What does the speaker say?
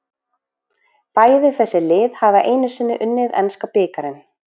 Bæði þessi lið hafa einu sinni unnið enska bikarinn.